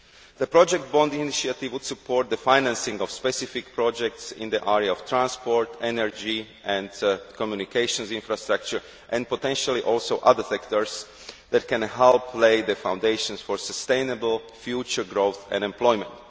The project bond initiative would support the financing of specific projects in the area of transport, energy and communications infrastructure, and potentially also in other sectors that can help lay the foundations for sustainable future growth and employment.